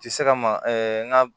Ti se ka ma n ga